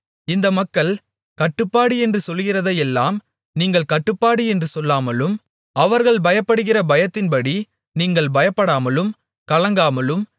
இந்த மக்கள் கட்டுப்பாடு என்று சொல்கிறதையெல்லாம் நீங்கள் கட்டுப்பாடு என்று சொல்லாமலும் அவர்கள் பயப்படுகிற பயத்தின்படி நீங்கள் பயப்படாமலும் கலங்காமலும்